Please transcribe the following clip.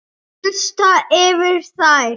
Gusast yfir þær.